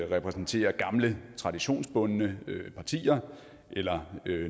repræsenterer gamle traditionsbundne partier eller